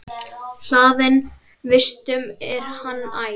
Hlaðinn vistum er hann æ.